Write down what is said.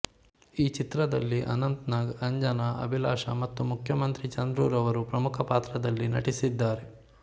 ಈ ಚಿತ್ರದಲ್ಲಿ ಅನಂತನಾಗ್ ಅಂಜನ ಅಭಿಲಾಷ ಮತ್ತು ಮುಖ್ಯಮಂತ್ರಿ ಚಂದ್ರುರವರು ಪ್ರಮುಖ ಪಾತ್ರದಲ್ಲಿ ನಟಿಸಿದ್ದಾರೆ